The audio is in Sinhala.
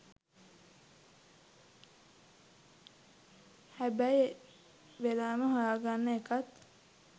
හැබැයි වෙලාව හොයාගන්න එකත්